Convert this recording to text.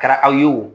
Kɛra aw ye wo